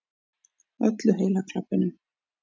Öllu heila klabbinu.